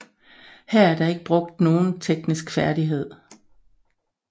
Her er der ikke brugt nogen teknisk færdighed